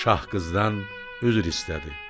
Şah qızdan üzr istədi.